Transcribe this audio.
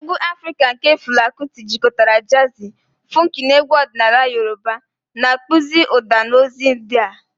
Egwu Afrika nke Fela Kuti jikọtara jazi, funku na egwu ọdịnala Yoruba, na-akpụzi ụda na ozi ụdị a.